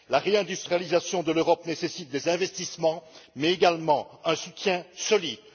La réindustrialisation de l'Europe nécessite des investissements mais également un soutien solide.